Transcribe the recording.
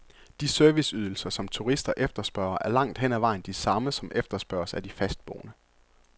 De serviceydelser, som turister efterspørger, er langt hen ad vejen de samme, som efterspørges af de fastboende.